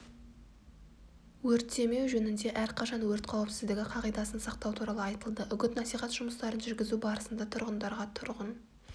өртемеу жөнінде әрқашан өрт қауіпсіздігі қағидасын сақтау туралы айтылды үгіт-насихат жұмыстарын жүргізу барысында тұрғындарға тұрғын